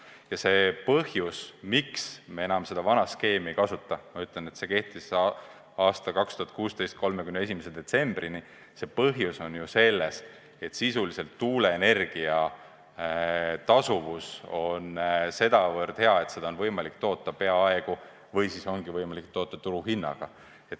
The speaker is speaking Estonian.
Ja see põhjus, miks me enam seda vana skeemi ei kasuta – ütlen vahele, et see kehtis 2016. aasta 31. detsembrini – on selles, et sisuliselt tuuleenergia tasuvus on sedavõrd hea, et seda on võimalik toota peaaegu või siis täielikult turuhinnaga.